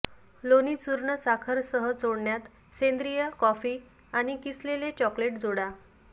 लोणी चूर्ण साखर सह चोळण्यात सेंद्रीय कॉफी आणि किसलेले चॉकलेट जोडा